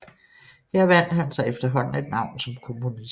Her vandt han sig efterhånden et navn som komponist